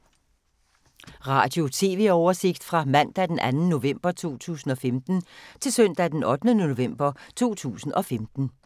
Radio/TV oversigt fra mandag d. 2. november 2015 til søndag d. 8. november 2015